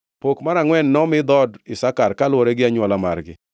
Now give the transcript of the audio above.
Pok mar angʼwen nomi dhood Isakar kaluwore gi anywola margi.